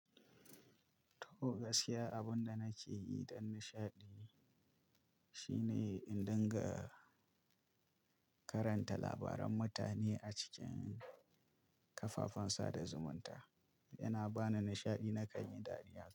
To gaskiya abin da nake yi dan nishaɗi shine in dinga karanta labaran mutane a cikin kafafen sada zumunta, yana bani nishaɗi na kan yi dariya.